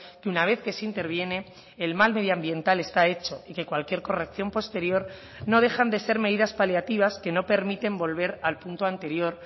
que una vez que se interviene el mal medioambiental está hecho y que cualquier corrección posterior no dejan de ser medidas paliativas que no permiten volver al punto anterior